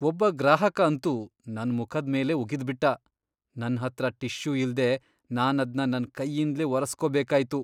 ಒಬ್ಬ ಗ್ರಾಹಕ ಅಂತೂ ನನ್ಮುಖದ್ ಮೇಲೇ ಉಗಿದ್ಬಿಟ್ಟ. ನನ್ಹತ್ರ ಟಿಶ್ಯೂ ಇಲ್ದೇ ನಾನದ್ನ ನನ್ ಕೈಯಿಂದ್ಲೇ ಒರೆಸ್ಕೋಬೇಕಾಯ್ತು.